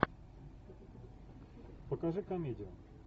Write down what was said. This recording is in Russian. покажи комедию